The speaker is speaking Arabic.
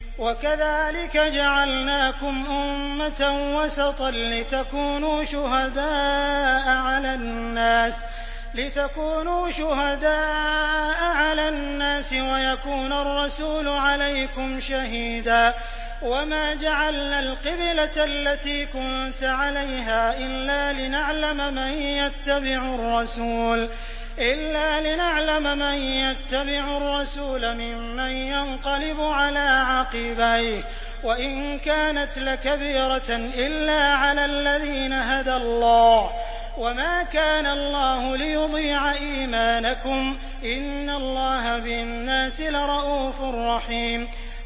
وَكَذَٰلِكَ جَعَلْنَاكُمْ أُمَّةً وَسَطًا لِّتَكُونُوا شُهَدَاءَ عَلَى النَّاسِ وَيَكُونَ الرَّسُولُ عَلَيْكُمْ شَهِيدًا ۗ وَمَا جَعَلْنَا الْقِبْلَةَ الَّتِي كُنتَ عَلَيْهَا إِلَّا لِنَعْلَمَ مَن يَتَّبِعُ الرَّسُولَ مِمَّن يَنقَلِبُ عَلَىٰ عَقِبَيْهِ ۚ وَإِن كَانَتْ لَكَبِيرَةً إِلَّا عَلَى الَّذِينَ هَدَى اللَّهُ ۗ وَمَا كَانَ اللَّهُ لِيُضِيعَ إِيمَانَكُمْ ۚ إِنَّ اللَّهَ بِالنَّاسِ لَرَءُوفٌ رَّحِيمٌ